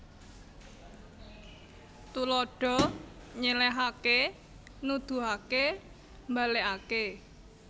Tuladha nyèlèhaké nuduhaké mbalèkaké